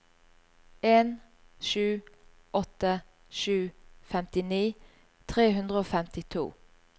en sju åtte sju femtini tre hundre og femtito